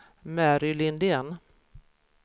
Mary Lindén